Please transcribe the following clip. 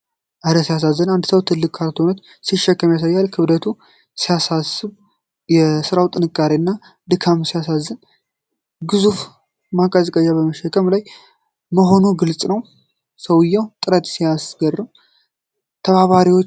እረ ሲያስደንቅ! አንድ ሰው ትልቅ ካርቶን ሲሸከም ይታያል። ክብደቱ ሲያሳስብ! የስራው ጥንካሬና ድካም ሲያሳዝን! ግዙፍ ማቀዝቀዣ በመሸከም ላይ መሆኑ ግልፅ! የሰውየው ጥረት ሲያስገርም! ተባባሪዎችም ይተባበሩ!